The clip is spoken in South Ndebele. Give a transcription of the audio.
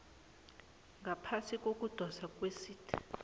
ngaphasi kokudoswa kwesite